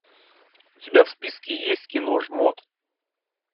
у тебя в списке есть кино жмот